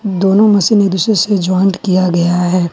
दोनों मशीन एक दूसरे से जॉइंट किया गया है।